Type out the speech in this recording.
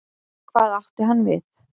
Hvað átti hann við?